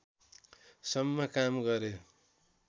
सम्म काम गरे